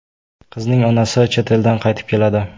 Qizning onasi chet eldan qaytib keladi.